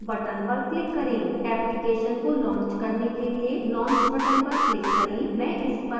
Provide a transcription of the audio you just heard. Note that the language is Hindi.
application को launch करने के लिए launch button पर click करें मैं इस पर click करती हूँ